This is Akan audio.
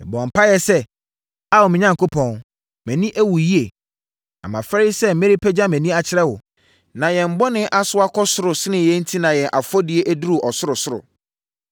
Mebɔɔ mpaeɛ sɛ: “Ao me Onyankopɔn, mʼani awu yie, na mafɛre sɛ merepagya mʼani akyerɛ wo. Na yɛn bɔne asoa kɔ soro sene yɛn enti na yɛn afɔdie aduru ɔsorosoro.